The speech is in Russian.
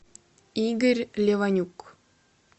игорь леванюк